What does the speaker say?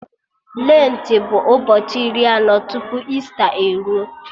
Lentị bụ ụbọchị iri anọ tupu Ista e ruo